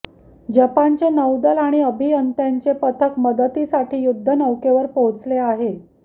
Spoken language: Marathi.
जपानचे नौदल आणि अभियंत्यांचे पथक मदतीसाठी युद्धनौकेवर पोहोचले आहे